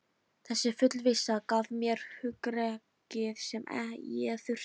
Þessi fullvissa gaf mér hugrekkið sem ég þurfti.